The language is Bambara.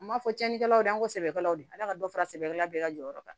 N m'a fɔ tiɲɛnikɛlaw de y'an ko sɛbɛkɛlaw de ye ala ka dɔ fara sɛbɛla bɛɛ ka jɔyɔrɔ kan